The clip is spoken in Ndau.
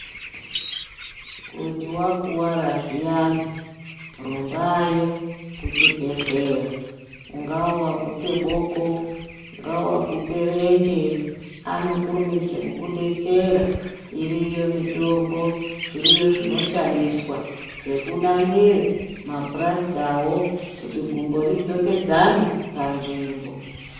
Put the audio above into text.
Kuti vakuvara zviyani rumbayo kuchibhedhleya ungaa vaguka boko ungaa vaguka renje anokurumidze kukubetsera. Iriyo mitombo zviriyo zvinoshandisa zvekunamire mapurasitavo kuti gumbo ridzokedzane panzvimbo.